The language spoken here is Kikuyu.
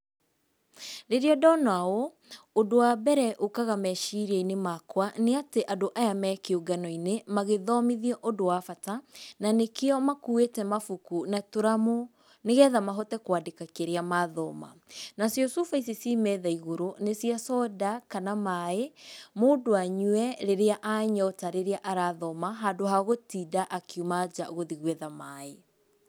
Rĩrĩa ndona ũũ, ũndũ wa mbere ũkaga meciria-inĩ makwa nĩ atĩ andũ aya me kĩũngano-inĩ magĩthomithio ũndũ wa bata, na nĩkĩo makuĩte mabuku na tũramu nĩgetha mahote kwandĩka kĩrĩa mathoma. Nacio cuba ici ciĩ metha igũrũ nĩ cia soda kana maaĩ, mũndũ anyue rĩrĩa anyota rĩrĩa arathoma handũ ha gũtinda akiuma nja gũthiĩ gwetha maaĩ.